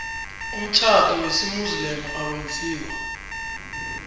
umtjhado wesimuslimu owenziwe